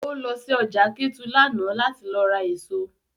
O lọ sí ọjà Kétu lánàá láti lọ ra èso